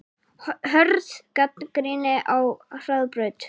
Hörð gagnrýni á Hraðbraut